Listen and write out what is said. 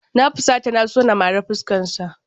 Na fusata na so na mari fuskarsa.